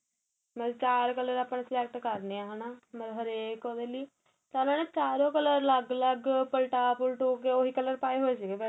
ਮਤਲਬ ਚਾਰ color ਆਪਾ ਨੇ select ਕਰਨੇ ਏਹ ਹੈਨਾ ਮਤਲਬ ਹਰੇਕ ਉਹਦੇ ਲਈ ਤਾ ਮੈ ਨਾ ਚਾਰੋ color ਅਲੱਗ ਅਲੱਗ ਪੱਲਟਾ ਪੁਲਟਕੇ ਉਹੀ color ਪਾਏ ਹੋਏ ਸੀਗੇ